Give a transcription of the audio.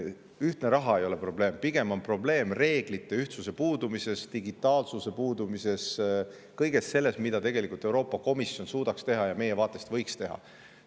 Ühtne raha ei ole probleem, vaid pigem on probleem reeglite ühtsuse ja digitaalsuse puudumises – kõiges selles, mida Euroopa Komisjon tegelikult suudaks teha ja mida ta võiks meie vaatest teha.